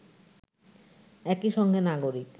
একই সঙ্গে নাগরিক